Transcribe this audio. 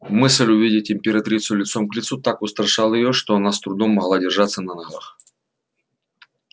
мысль увидеть императрицу лицом к лицу так устрашала её что она с трудом могла держаться на ногах